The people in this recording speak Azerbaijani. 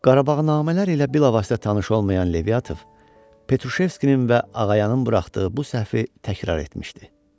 Qarabağnamələr ilə bilavasitə tanış olmayan Leviatov Petroşevskinin və Ağayanın buraxdığı bu səhvi təkrar etmişdi.